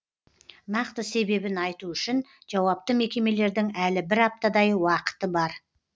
нақты себебін айту үшін жауапты мекемелердің әлі бір аптадай уақыты бар